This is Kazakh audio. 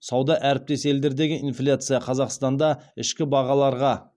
сауда әріптес елдердегі инфляция қазақстанда ішкі бағаларға